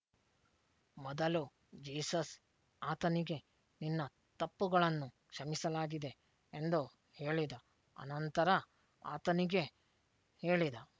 ಮೊದಲು ಜೀಸಸ್ ಆತನಿಗೆ ನಿನ್ನ ತಪ್ಪುಗಳನ್ನು ಕ್ಷಮಿಸಲಾಗಿದೆ ಎಂದು ಹೇಳಿದ ಅನಂತರ ಆತನಿಗೆ ಹೇಳಿದ